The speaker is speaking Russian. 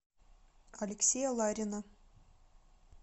алексея ларина